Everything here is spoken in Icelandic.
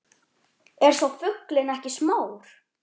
Er sá fuglinn ekki smár